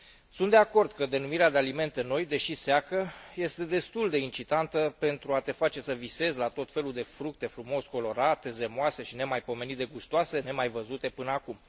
Sunt de acord că denumirea de alimente noi, deși seacă, este destul de incitantă pentru a te face să visezi la tot felul de fructe frumos colorate, zemoase și nemaipomenit de gustoase, nemaivăzute până acum.